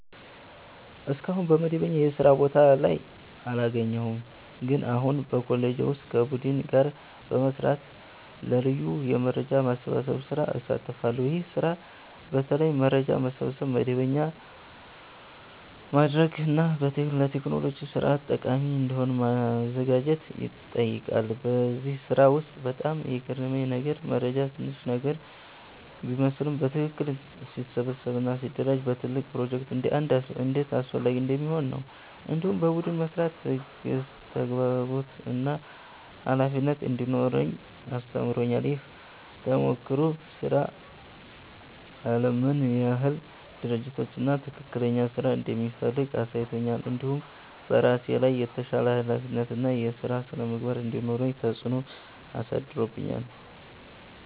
እስካሁን በመደበኛ የስራ ቦታ ስራ አላገኘሁም፣ ግን አሁን በኮሌጄ ውስጥ ከቡድን ጋር በመስራት ለ ልዩ የመረጃ ማሰባሰብ ስራ እሳተፋለሁ። ይህ ስራ በተለይ መረጃ መሰብሰብ፣ መደበኛ ማድረግ እና ለቴክኖሎጂ ስርዓት ጠቃሚ እንዲሆን ማዘጋጀት ይጠይቃል። በዚህ ስራ ውስጥ በጣም የገረመኝ ነገር መረጃ ትንሽ ነገር ቢመስልም በትክክል ሲሰበሰብ እና ሲደራጀ ለትልቅ ፕሮጀክት እንዴት አስፈላጊ እንደሚሆን ነው። እንዲሁም በቡድን መስራት ትዕግሥት፣ ተግባቦት እና ኃላፊነት እንዲኖረኝ አስተምሮኛል። ይህ ተሞክሮ ስራ አለም ምን ያህል ድርጅት እና ትክክለኛ ስራ እንደሚፈልግ አሳይቶኛል። እንዲሁም በራሴ ላይ የተሻለ ኃላፊነት እና የስራ ስነ-ምግባር እንዲኖረኝ ተጽዕኖ አሳድሮብኛል።